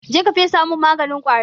Je ka fesa min maganin ƙwari!